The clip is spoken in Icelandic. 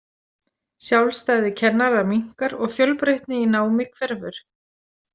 Sjálfstæði kennara minnkar og fjölbreytni í námi hverfur.